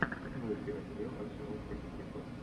прямой эфир апл арсенал против ньюкасл